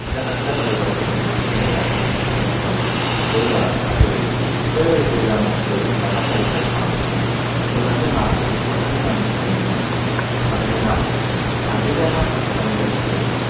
இந்த கட்டிடக்கலை படைப்புகள் உச்ச நிலையாக இந்த கட்டமைப்பு கோவில்களாகவும் கருதப்படுகிறது. குடைவரை கோயில் அமைப்பு செதுக்கும் கட்டக்கலை படைப்பானது பின் பின் வந்த காலங்களில் தொடர்ந்து நடந்து கொண்டிருந்தது. அதனை நாம் அதிரென சந்த குகை